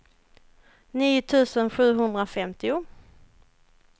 nio tusen sjuhundrafemtio